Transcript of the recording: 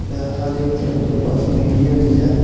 एते हर एक जगह के बस मिलये टा जाएत --